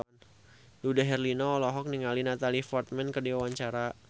Dude Herlino olohok ningali Natalie Portman keur diwawancara